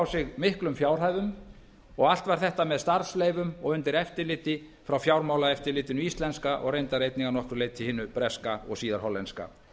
sig miklum fjárhæðum og allt var þetta með starfsleyfum og undir eftirliti frá fjármálaeftirlitinu íslenska og reyndar einnig að nokkru leyti hinu breska og síðar hollenska